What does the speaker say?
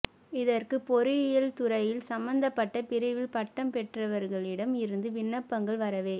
இதற்கு பொறியியல் துறையில் சம்மந்தப்பட்ட பிரிவில் பட்டம் பெற்றவர்களிடம் இருந்து விண்ணப்பங்கள் வரவே